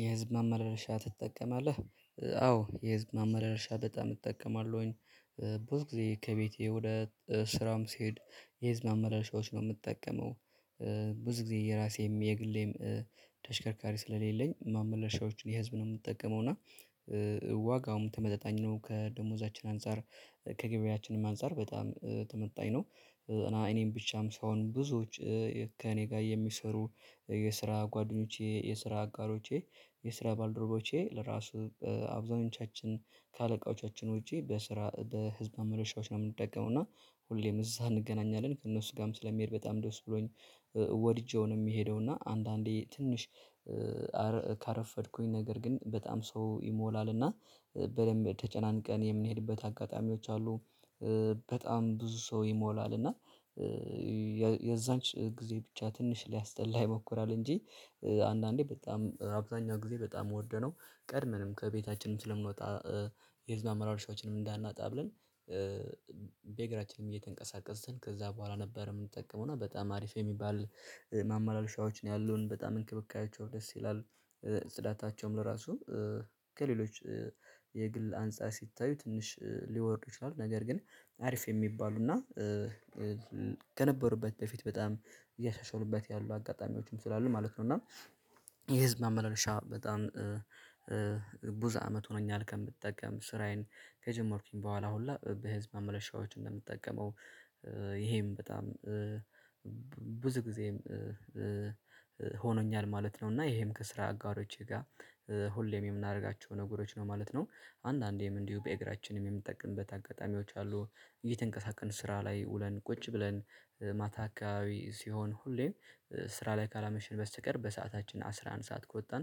የህዝብ ማመላለሻ ትጠቀማለህ? አዎ የህዝብ ማመላለሻ በጣም እጠቀማለሁኝ። ብዙ ጊዜ ከቤቴ ወደ ስራም ስሄድ የህዝብ ማመላለሻዎች ነው የምጠቀመው። ብዙ ጊዜ የራሴም የግሌም ተሽከርካሪ ስለሌለኝ ማመላለሻዎችን የህዝብን ነው የምጠቀመው እና ዋጋውም ተመጣጣኝ ነው ከደሞዛችን አንፃር ከገቢያችንም አንፃር በጣም ተመጣኝ ነው። እና እኔም ብቻም ሳይሆን ብዙዎች ከእኔ ጋር የሚሰሩ የስራ ጓደኞቼ የስራ አጋሮቼ የስራ ባልደረቦቼ ለራሱ አብዛኞቻችን ከአለቃዎቻችን ውጪ በስራ በህዝብ ማመላለሻዎች ነው የምንጠቀመው። እና ሁሌም እዛ እንገናኛለን ከእነሱ ጋርም ስለምሄድ በጣም ደስ ብሎኝ ወድጄው ነው የምሄደው። እና አንዳንዴ ትንሽ ካረፈድኩኝ ነገር ግን በጣም ሰው ይሞላል እና በደንብ ተጨናንቀን የምንሄድበት አጋጣሚዎች አሉ። በጣም ብዙ ሰው ይሞላል እና የዛንች ጊዜ ብቻ ትንሽ ሊያስጠላ ይሞክራል እንጂ አንዳንዴ በጣም አብዛኛው ጊዜ በጣም ዉድ ነው። ቀድመንም ከቤታችንም ስለምንወጣ የህዝብ ማመላለሻዎችን እንዳናጣ ብለን በእግራችንም እየተንቀሳቀስን ከዛ በኋላ ነበር የምንጠቀመውና በጣም አሪፍ የሚባል ማመላለሻዎች ነው ያሉን በጣም እንክብካቤያቸው ደስ ይላል። ጽዳታቸውም ለራሱ ከሌሎች የግል አንፃር ሲታዩ ትንሽ ሊወርድ ይችላሉ ነገር ግን አሪፍ የሚባሉ እና ከነበሩበት በፊት በጣም እያሻሻሉበት ያሉ አጋጣሚዎችም ስላሉ ማለት ነው። እና የህዝብ ማመላለሻ በጣም ብዙ አመት ሆኖኛል ከምጠቀም ስራዬን ከጀመርኩኝ በኋላ ሁላ በህዝብ ማመላለሻዎች እንደምትጠቀመው ይሄም በጣም ብዙ ጊዜም ሆኖኛል ማለት ነው። እና ይሄም ከስራ አጋሮቼ ጋር ሁሌም የምናረጋቸው ነገሮች ነው ማለት ነው። አንዳንዴም እንዲሁ በእግራችንም የምንጠቀምበት አጋጣሚዎች አሉ። እየተንቀሳቀስን ስራ ላይ ውለን ቁጭ ብለን ማታ አካባቢ ሲሆን ሁሌም ስራ ላይ ካላመሽን በስተቀር በሰአታችን አስራ አንድ ሰዓት ከወጣን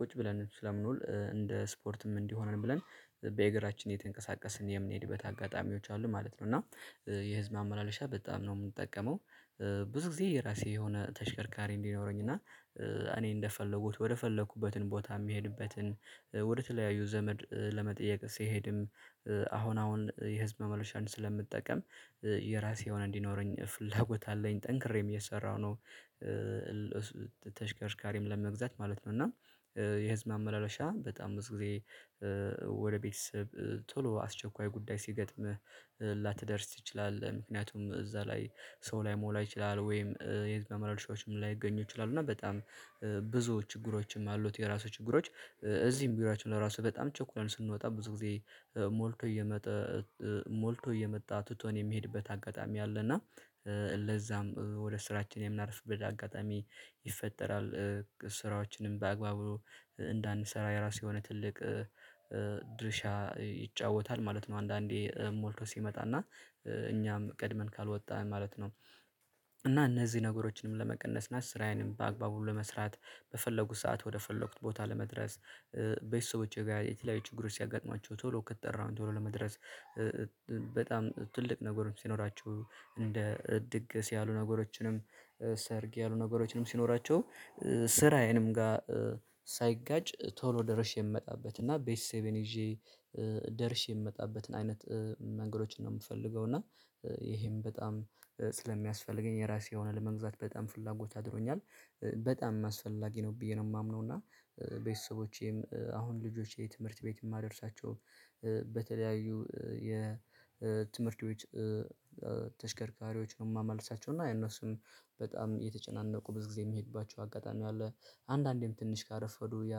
ቁጭ ብለን ስለምንውል እንደ ስፖርትም እንዲሆነን ብለን በእግራችን እየተንቀሳቀስን የምንሄድበት አጋጣሚዎች አሉ ማለት ነው። እና የህዝብ ማመላለሻ በጣም ነው የምጠቀመው ብዙ ጊዜ የራሴ የሆነ ተሽከርካሪ እንዲኖረኝ እና እኔ እንደፈለጉት ወደ ፈለኩበትን ቦታ የምሄድበትን ወደ ተለያዩ ዘመድ ለመጠየቅ ስሄድም አሁን አሁን የህዝብ ማመላለሻን ስለምጠቀም የራሴ የሆነ እንዲኖረኝ ፍላጎት አለኝ ጠንክሬም እየሰራሁ ነው ተሽከርካሪም ለመግዛት ማለት ነው። እና የህዝብ ማመላለሻ በጣም ብዙ ጊዜ ወደ ቤተሰብ ቶሎ አስቸኳይ ጉዳይ ሲገጥምህ ላተደርስ ትችላለህ ምክንያቱም እዛ ላይ ሰው ላይሞላ ይችላል ወይም የህዝብ ማመላለሻዎች ላይገኙ ይችላሉ እና በጣም ብዙ ችግሮችም አሉት። የራሱ ችግሮች እዚህም ቢሮአቸን ራሱ በጣም ቸኩለን ስንወጣ ብዙ ጊዜ ሞልቶ እየመጣ ሞልቶ እየመጣ ትቶን የሚሄድበት አጋጣሚ አለ። እና ለዛም ወደ ስራችን የምናረፍድበት አጋጣሚ ይፈጠራል ስራዎችንም በአግባቡ እንዳንሰራ የራሱ የሆነ ትልቅ ድርሻ ይጫወታል ማለት ነው። አንዳንዴ ሞልቶ ሲመጣና እኛም ቀድመን ካልወጣን ማለት ነው። እና እነዚህ ነገሮችንም ለመቀነስ እና ስራዬንም በአግባቡ ለመስራት በፈለጉት ሰዓት ወደ ፈለኩት ቦታ ለመድረስ ቤተሰቦቼ ጋር የትለያዩ ችግሮች ሲያጋጥማቸው ቶሎ ከተጠራው ቶሎ ለመድረስ በጣም ትልቅ ነገርም ሲኖራቸው እንደ ድግስ ያሉ ነገሮችንም ሰርግ ያሉ ነገሮችንም ሲኖራቸው ስራዬንም ጋ ሳይጋጭ ቶሎ ደርሼ የምመጣበት እና ቤተሰቤን ይዤ ደርሼ የምመጣበትን አይነት መንገዶችን ነው የምፈልገው። እና ይሄም በጣም ስለሚያስፈልገኝ የራሴ የሆነ ለመግዛት በጣም ፍላጎት አድሮኛል በጣም አስፈላጊ ነው ብዬ ነው የማምነው። እና ቤተሰቦቼም አሁን ልጆቼ ትምህርት ቤት የማደርሳቸው በተለያዩ የትምህርት ቤት ተሽከርካሪዎች ነው የማመላልሳቸው እና ያነሱም በጣም እየተጨናነቁ ብዙ ጊዜ የምሄድባቸው አጋጣሚ አለ አንዳንዴም ትንሽ ካረፈዱ ያ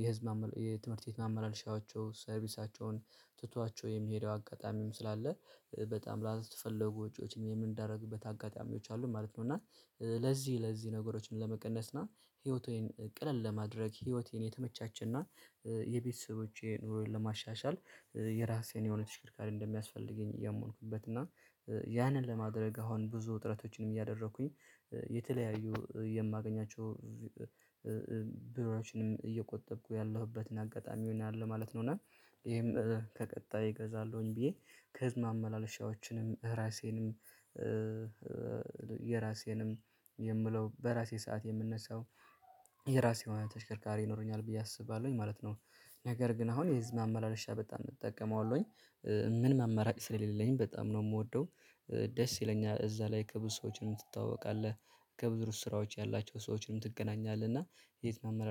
የህዝብ የትምህርት ቤት ማመላለሻዎቹ ሰርቪሳቸውን ትቷቸው የሚሄደው አጋጣሚም ስላለ በጣም ላልተፈለጉ ወጪዎችን የምንዳረግበት አጋጣሚዎች አሉ ማለት ነው። እና ለዚህ ለዚህ ነገሮችን ለመቀነስ እና ህይወቴን ቀልል ለማድረግ ህይወቴን የተመቻቸና የቤተሰቦቼ ኑሮዬን ለማሻሻል የራሴን የሆነ ተሽከርካሪ እንደሚያስፈልገኝ እያመንኩበት እና ያንን ለማድረግ አሁን ብዙ ጥረቶችንም እያደረኩኝ የተለያዩ የማገኛቸው ብሮዎችንም እየቆጠብኩ ያለሁበትን አጋጣሚ አለው ማለት ነው። እና ይሄም ከቀጣይ እገዛለሁኝ ብዬ ከህዝብ ማመላለሻዎችንም ራሴንም የራሴንም የምለው በራሴ ሰዓት የምነሳው የራሴ የሆነ ተሽከርካሪ ይኖረኛል ብዬ አስባለሁኝ ማለት ነው። ነገር ግን አሁን የህዝብ ማመላለሻ በጣም እጠቀመዋለሁኝ ምንም አማራጭ ስለሌለኝ በጣም ነው የምወደው። ደስ ይለኛል እዛ ላይ ከብዙ ሰዎችም ትተዋወቃለህ ከብዙ ስራዎች ያላቸው ሰዎችንም ትገናኛለህ። እና የት ማመና?